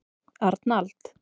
Arnald